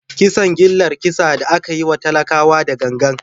Kisan gillar kisa da aka yi wa talakawa da gangan.